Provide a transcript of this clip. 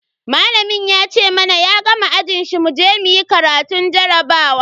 Malamin ya ce mana ya gama ajin shi muje muyi karatun jarabawa.